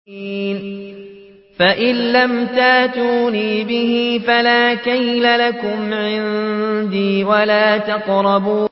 فَإِن لَّمْ تَأْتُونِي بِهِ فَلَا كَيْلَ لَكُمْ عِندِي وَلَا تَقْرَبُونِ